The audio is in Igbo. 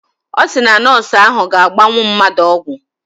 Ọ sị na nọọsụ ahụ ga-agbanwu mmadụ ọgwụ